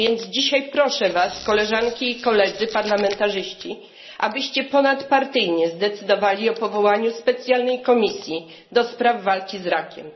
Dzisiaj proszę Was, Koleżanki i Koledzy parlamentarzyści, abyście ponadpartyjnie zdecydowali o powołaniu specjalnej komisji do spraw walki z rakiem.